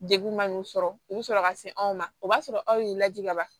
Degun man'u sɔrɔ u bɛ sɔrɔ ka se anw ma o b'a sɔrɔ aw y'u lajigin kaban